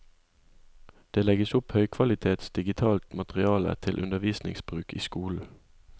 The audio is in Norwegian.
Det legges opp høykvalitets digitalt materiale til undervisningsbruk i skolen.